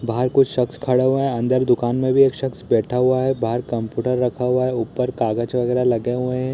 बाहर कुछ शक्स खड़ा हुए है। अंदर दुकान में भी एक शक्स बैठ हुआ है। बाहर कंप्युटर रखा हुआ है। ऊपर कागज वगैरह लगे हुए हैं।